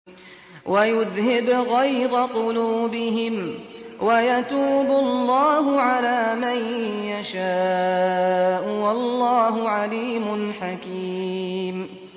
وَيُذْهِبْ غَيْظَ قُلُوبِهِمْ ۗ وَيَتُوبُ اللَّهُ عَلَىٰ مَن يَشَاءُ ۗ وَاللَّهُ عَلِيمٌ حَكِيمٌ